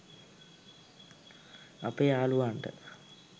අපේ යාලුවන්ට